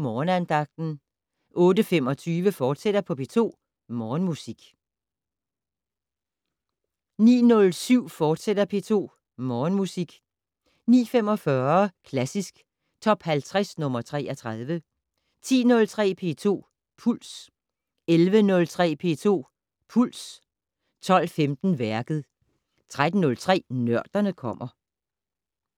Morgenandagten 08:25: P2 Morgenmusik, fortsat 09:07: P2 Morgenmusik, fortsat 09:45: Klassisk Top 50 - nr. 33 10:03: P2 Puls 11:03: P2 Puls 12:15: Værket 13:03: Nørderne kommer